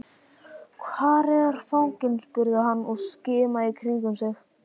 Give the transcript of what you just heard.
Hvar er fanginn? spurði hann og skimaði í kringum sig.